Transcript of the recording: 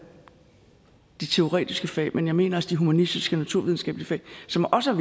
de teoretiske fag men jeg mener altså de humanistiske og naturvidenskabelige fag som også er